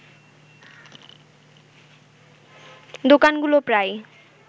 দোকানগুলো প্রায়